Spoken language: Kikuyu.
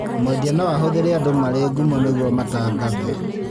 Mwendia no ahũthire andũ marĩ ngumo nĩguo matangathe